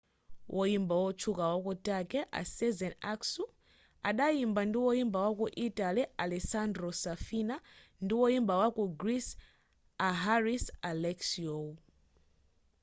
woyimba otchuka waku turkey a sezen aksu adayimba ndi woyimba wa ku italy a alessandro safina ndi woyimba waku greece a haris alexiou